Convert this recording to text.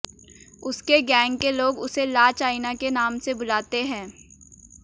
उसके गैंग के लोग उसे ला चाइना के नाम से बुलाते हैं